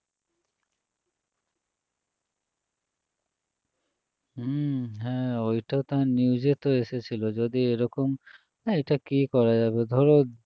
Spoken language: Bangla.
হম হ্যাঁ ওইটা তো news এ তো এসেছিল যদি এরকম আহ এইটা কি করা যাবে ধরো